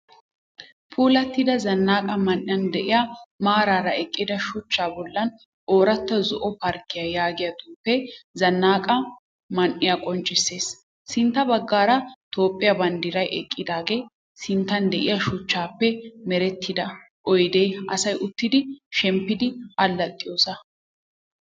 Puulattida zannaqa man'iyan de'iyaa maaraara eqqida shuchcha bollan ooratta zoo parkkiya yaagiyaa xuufe zannaqa man'iya qonccisses Sintta baggaara toophphiyaa banddiray eqqidaaga sinttan de'iyaa shuchchaappe merettida oydee asay uttidi shemppiiddi allaxxiyoosa